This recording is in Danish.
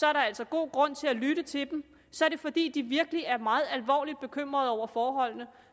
er der altså god grund til at lytte til dem så er det fordi de virkelig er meget alvorligt bekymret over forholdene og